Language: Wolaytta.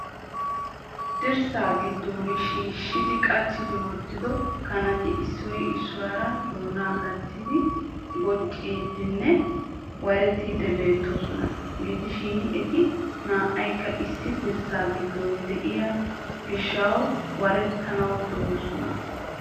Dirssa giddon shiishshidi qachchi wottido kanati issoy issuwaara doona gattidi bocciidinne warettiidi beettoosona. Gidoshin eti naykka issi dirssaa giddon de'iyo gishshaw warettanaw de'oosona.